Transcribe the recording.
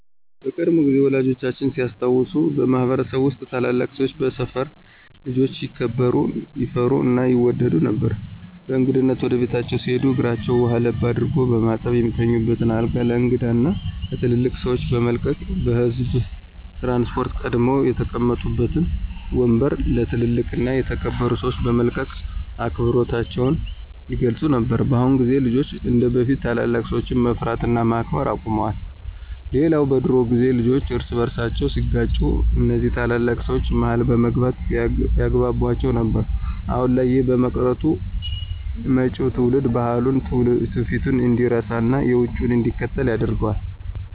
በቀድሞ ጊዜ ወላጆቻችን ሲያስታውሱ በማህበረሰብ ውስጥ ታላላቅ ሰወች በሰፈር ልጆች ይከበሩ፣ ይፈሩ እና ይወደዱ ነበር። በእንግድነት ወደ ቤታቸው ሲሄዱ እግራቸውን ውሃ ለብ አድርጎ በማጠብ፣ የሚተኙበትን አልጋ ለእንግዳው እና ለትልልቅ ሰወች በመልቀቅ፤ በህዝብ ትራንስፖርት ቀድመው የተቀመጡበትን ወምበር ለ ትልልቅ እና የተከበሩ ሰወች በመልቀቅ አክብሮታቸውን ይገልፁ ነበር። በአሁን ግን ልጆች እንደበፊት ታላላቅ ሰወችን መፍራት እና ማክበር አቁመዋል። ሌላው በድሮ ጊዜ ልጆች እርስ በርሳቸው ሲጋጩ እነዚ ታላላቅ ሰወች መሀል በመግባት ያግቧቧቸው ነበር። አሁን ላይ ይህ በመቅረቱ መጪው ትውልድ ባህሉን፣ ትውፊቱን እንዲረሳና የውጩን እንዲከተል ያደርገዋል።